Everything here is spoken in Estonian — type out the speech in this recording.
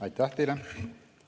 Aitäh teile!